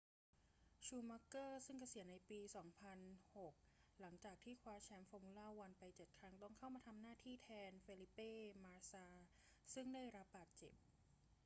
ชูมัคเกอร์ซึ่งเกษียณในปี 2006 หลังจากที่คว้าแชมป์ฟอร์มูล่าวันไปเจ็ดครั้ง ต้องเข้ามาทำหน้าที่แทนเฟลิเป้ มาสซาซึ่งได้รับบาดเจ็บ